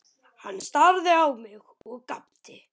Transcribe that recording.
Hann starði á mig og gapti.